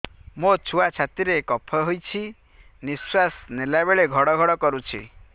ମୋ ଛୁଆ ଛାତି ରେ କଫ ହୋଇଛି ନିଶ୍ୱାସ ନେଲା ବେଳେ ଘଡ ଘଡ କରୁଛି